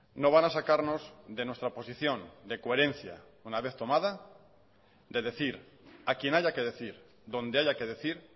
no van a sacarnos de nuestra posición de coherencia una vez tomada de decir a quien haya que decir donde haya que decir